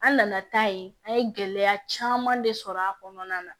An nana taa yen an ye gɛlɛya caman de sɔrɔ a kɔnɔna na